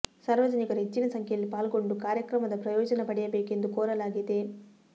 ಸಾರ್ವ ಜನಿಕರು ಹೆಚ್ಚಿನ ಸಂಖ್ಯೆಯಲ್ಲಿ ಪಾಲ್ಗೊಂಡು ಕಾರ್ಯಕ್ರಮದ ಪ್ರಯೋಜನ ಪಡೆಯಬೇಕು ಎಂದು ಕೋರಲಾಗಿದೆ